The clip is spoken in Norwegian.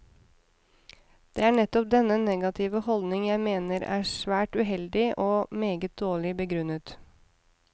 Det er nettopp denne negative holdning jeg mener er svært uheldig, og meget dårlig begrunnet.